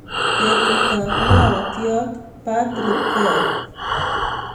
Betut ab maotiat Patrick ko au